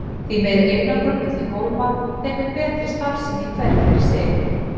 Því meiri einangrun milli hólfa þeim mun betri starfsemi í hverju fyrir sig.